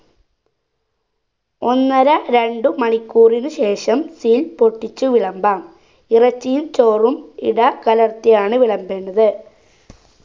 ഒന്നര രണ്ടു മണിക്കൂറിന് ശേഷം seal പൊട്ടിച്ചു വിളമ്പാം ഇറച്ചിയിൽ ചോറും ഇടകലർത്തിയാണ് വിളമ്പേണ്ടത്